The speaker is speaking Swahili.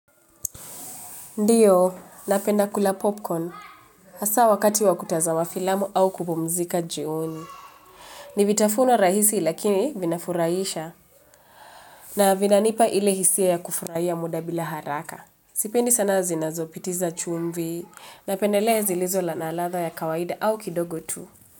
Ndiyo, napenda kula popcorn. Hasa wakati wa kutazama filamu au kupumzika jioni. Ni vitafuno rahisi lakini vinafurahisha. Na vinanipa ile hisia ya kufurahia muda bila haraka. Sipendi sana zinazopitiza chumvi. Napendelea zilizo na ladha ya kawaida au kidogo tu.